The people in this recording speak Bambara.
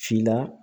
Si la